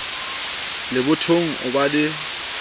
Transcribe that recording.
le bothong o ba le